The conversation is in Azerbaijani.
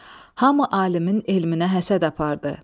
Hamı alimin elminə həsəd apardı.